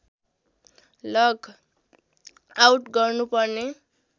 लग out गर्नुपर्ने